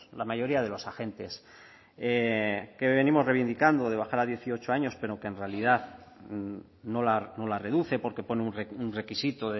la mayoría de los agentes que venimos reivindicando de bajar a dieciocho años pero que en realidad no la reduce porque pone un requisito